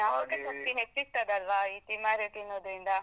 ಜ್ಞಾಪಕ ಶಕ್ತಿ ಹೆಚ್ಚಿಸ್ತದಲ್ವಾ ಇ ತಿಮರೆ ತಿನ್ನುದ್ರಿಂದ.